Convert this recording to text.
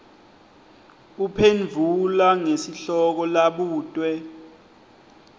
uphendvula ngesihloko labutwe